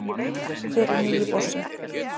Hver er nýi bossinn